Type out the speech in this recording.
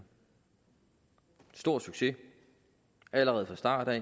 stor succes allerede fra starten af